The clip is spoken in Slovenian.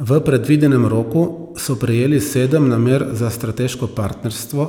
V predvidenem roku so prejeli sedem namer za strateško partnerstvo